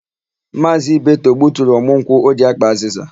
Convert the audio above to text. Maazị Ibeto gbuturu ọmụ nkwụ o ji ákpà azịza.